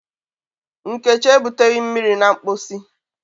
Nkechi ebuteghi mmiri na mposi